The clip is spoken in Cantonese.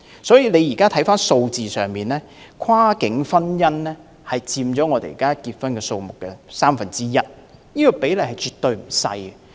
在數字上，跨境婚姻佔本港註冊婚姻數字的三分之一，比例絕對不小。